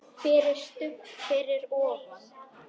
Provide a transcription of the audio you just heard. FYRIR STUBB fyrir ofan.